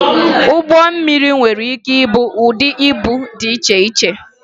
Ụgbọ mmiri nwere ike ìbú ụdị íbú dị iche iche